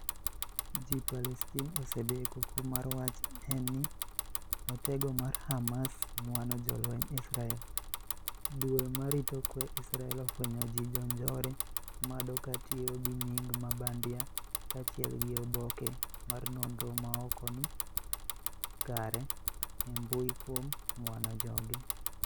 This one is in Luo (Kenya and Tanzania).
g palestin osebeKuku mar wach en ni, "Otego mar Hamas ng'wano jolwenj Israel. Duol ma rito kwe Israel ofwenyo ji Jonjore mado katiyo gi nying ma bandia kaachiel gi oboke mar nonro maokni kare e mbui kuom ng'wano joge,